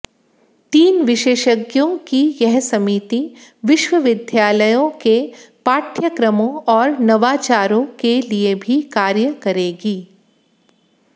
तीन विशेषज्ञों की यह समिति विश्वविद्यालयों के पाठ्यक्रमों और नवाचारों के लिए भी कार्य करेगी